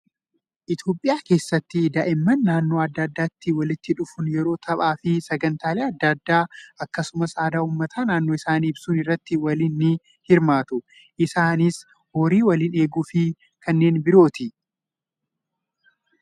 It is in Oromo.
Itoophiyaa keessatti daa'imman naannoo adda addaatti walitti dhufuun yeroo taphaa fi sagantaalee adda addaa akkasumas aadaa uummata naannoo isaanii ibsuun irratti waliin ni hirmaatu. Isaanis horii waliin eeguu fi kanneen birooti.